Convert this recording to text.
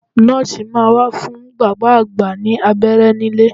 Nọ́ọ̀sì máa wá fún bàbá àgbà ní abẹ́rẹ́ nílé